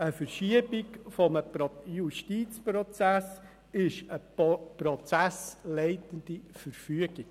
Eine Verschiebung eines Justizprozesses ist eine prozessleitende Verfügung.